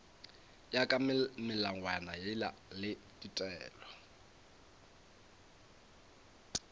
ya ka melawana le ditaelo